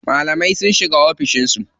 Malamai sun shiga oficin su.